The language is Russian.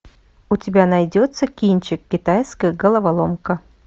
у тебя найдется кинчик китайская головоломка